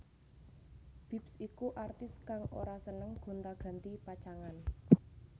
Bips iku artis kang ora seneng gonta ganti pacangan